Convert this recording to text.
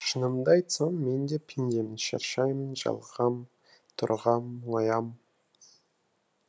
шынымды айтсам мен де пендемін шаршаймын жалығам торығам мұңаям